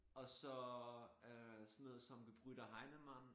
Og så øh sådan noget som Gebr. Heinemann